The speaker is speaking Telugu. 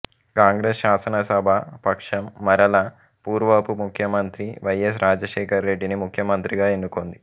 కాంగ్రెస్ శాసనసభా పక్షం మరల పూర్వపు ముఖ్యమంత్రి వై ఎస్ రాజశేఖరరెడ్డిని ముఖ్యమంత్రిగా ఎన్నుకొంది